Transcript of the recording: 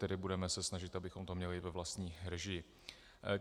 Tedy budeme se snažit, abychom to měli ve vlastní režii.